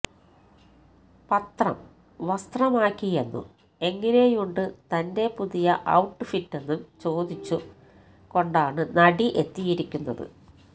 പത്രം വസ്ത്രമാക്കിയെന്നും എങ്ങനെയുണ്ട് തന്റെ പുതിയ ഔട്ട് ഫിറ്റെന്നും ചോദിച്ചുകൊണ്ടാണ് നടി എത്തിയിരിക്കുന്നത്